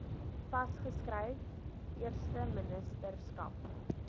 vas geskryf eersteministerskap